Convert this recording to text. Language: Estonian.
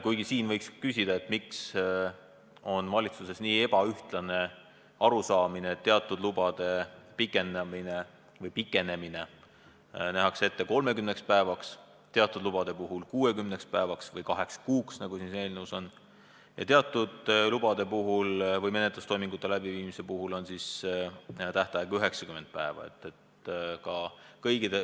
Kuigi siinkohal võiks küsida, miks on valitsuses niivõrd ebaühtlane arusaam, et teatud lubade pikenemine nähakse ette 30 päevaks, teatud lubade pikenemine 60 päevaks või kaheks kuuks, nagu siin eelnõus on öeldud, ja teatud lubade puhul või menetlustoimingute läbiviimisel on tähtaeg 90 päeva.